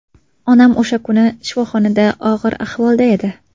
Onam o‘sha kuni shifoxonada og‘ir ahvolda edi.